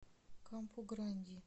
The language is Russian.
кампу гранди